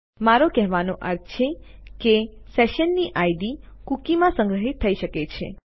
મારો કહેવાનો અર્થ છે કે સેશનની ઇડ કૂકીમાં સંગ્રહિત થઈ શકે છે